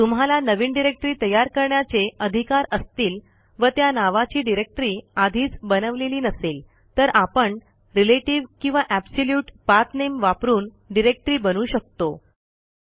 तुम्हाला नवीन डिरेक्टरी तयार करण्याचे अधिकार असतील व त्या नावाची डिरेक्टरी आधीच बनवलेली नसेल तर आपण रिलेटीव्ह किंवा ऍबसोल्युट पाथ नेम वापरून डिरेक्टरी बनवू शकतो